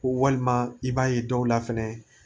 Ko walima i b'a ye dɔw la fɛnɛ